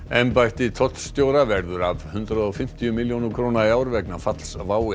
embætti tollstjóra verður af hundrað og fimmtíu milljónum króna í ár vegna falls WOW